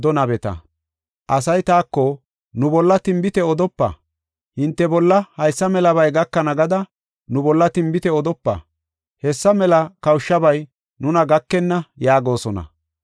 Asay taako, “Nu bolla tinbite odopa; hinte bolla haysa melabay gakana gada nu bolla tinbite odopa. Hessa mela kawushabay nuna gakena” yaagosona.